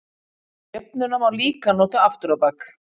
Jöfnuna má líka nota aftur á bak.